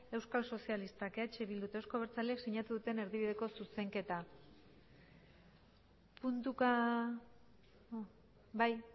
euskal sozialistak eh bildu eta euzko abertzaleak sinatu duten erdibideko zuzenketa puntuka bai